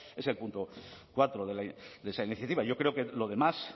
es el punto cuatro de esa iniciativa yo creo que lo demás